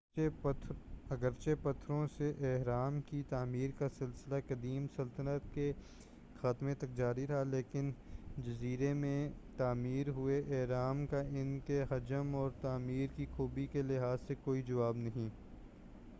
اگرچہ پتھروں سے اہرام کی تعمیر کا سلسلہ قدیم سلطنت کے خاتمہ تک جاری رہا لیکن جیزہ میں تعمیر ہوئے اہرام کا ان کے حجم اور تعمیر کی خوبی کے لحاظ سے کوئی جواب نہیں